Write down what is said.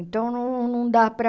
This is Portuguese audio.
Então, não não dá para...